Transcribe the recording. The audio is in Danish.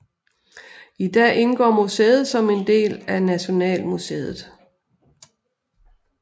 I dag indgår museet som en del af Nationalmuseet